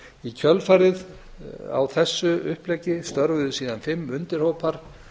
í kjölfarið á þessu uppleggi störfuðu fimm undirhópar